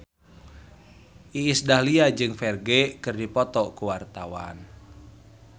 Iis Dahlia jeung Ferdge keur dipoto ku wartawan